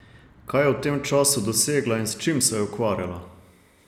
Kaj je v tem času dosegla in s čim se je ukvarjala?